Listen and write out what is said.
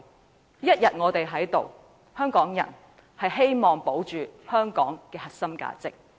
我們一天在此，便要為香港人保住香港的核心價值。